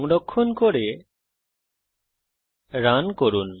সংরক্ষণ করে রান করুন